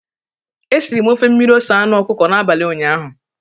E siri m ofe mmiri ose anụ ọkụkọ n'abalị ụnyaahụ.